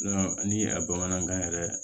ni a bamanankan yɛrɛ